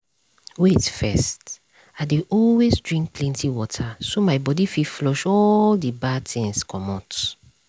wait first - i dey always drink plenty water so my body fit flush all the bad things comot.